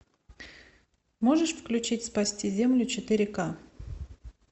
можешь включить спасти землю четыре ка